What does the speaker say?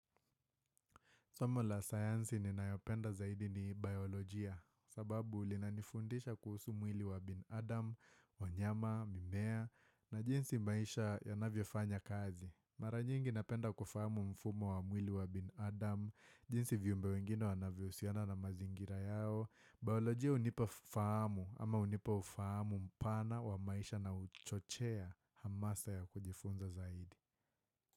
Somo la sayansi ninayopenda zaidi ni biolojia sababu linanifundisha kuhusu mwili wa binadam, wanyama, mimea na jinsi maisha yanavyofanya kazi Mara nyingi napenda kufahamu mfumo wa mwili wa binadam jinsi viumbe wengine wanavyohusiana na mazingira yao Biolojia hunipa fahamu ama hunipa ufahamu mpana wa maisha na huchochea hamasa ya kujifunza zaidi.